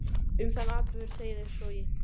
Um þann atburð segir svo í